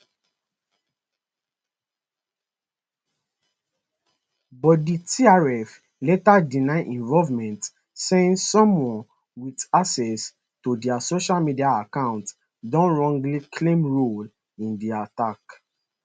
but di trf later deny involvement saying someone wit access to dia social media account don wrongly claim role in di attack